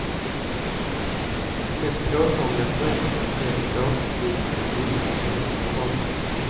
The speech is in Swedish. Den mest påtagliga förändringen blir en båtliknande byggnad i änden av perrongen.